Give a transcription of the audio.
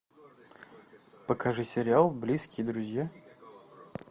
покажи сериал близкие друзья